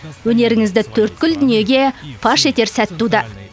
өнеріңізді төрткүл дүниеге паш етер сәт туды